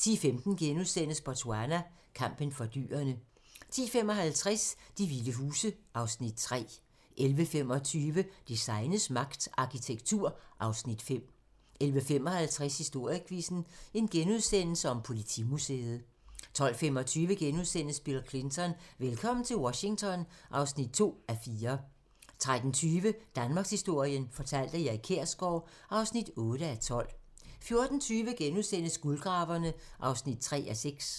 10:15: Botswana: Kampen for dyrene * 10:55: De vilde huse (Afs. 3) 11:25: Designets magt - Arkitektur (Afs. 5) 11:55: Historiequizzen: Politimuseet * 12:25: Bill Clinton: Velkommen til Washington (2:4)* 13:20: Danmarkshistorien fortalt af Erik Kjersgaard (8:12) 14:20: Guldgraverne (3:6)*